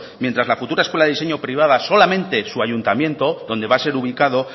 mientras la futura escuela de diseño privada solamente su ayuntamiento donde va a ser ubicado